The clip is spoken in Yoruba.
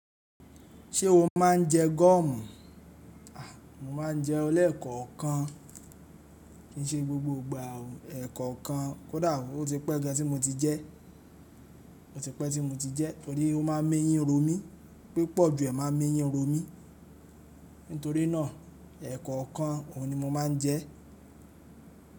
Ṣé o máa ń jẹ gọ́ọ̀mù? Mo máa ń jẹun lẹ̀kọ̀kan kin ṣe gbogbo ìgbà o. Ẹ̀kọ̀kan kódà ó ti pẹ́ igba tí mo ti jẹ́, ó ti pẹ́ tí mo ti jẹ́ torí ó ma ń eyin romi, pípọ̀ ju ẹ́ máa ń eyin romi. Nítorí náà ẹ̀kọ̀kan ohun ni mo máa ń jẹ.